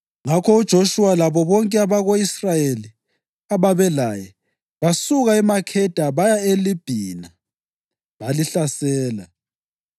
Ngakho uJoshuwa labo bonke abako-Israyeli ababelaye basuka eMakheda baya eLibhina balihlasela.